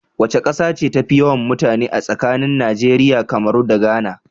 Wace kasa ce tafi yawan mutane a tsakanin Nigeria, Cameron da Ghana?